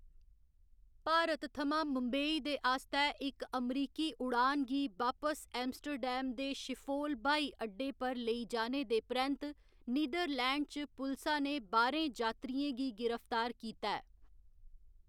भारत थमां मुंबई दे आस्तै इक अमरीकी उडान गी बापस एम्स्टर्डम दे शिफोल ब्हाई अड्डे पर लेई जाने दे परैंत्त नीदरलैंड च पुलसा ने बाह्‌रें जात्तरियें गी गिरफ्तार कीता ऐ।